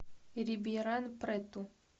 рибейран прету